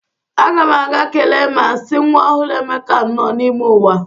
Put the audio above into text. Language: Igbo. Aga m aga kelee ma sị nwa ọhụrụ Emeka nnọọ n'ime ụwa.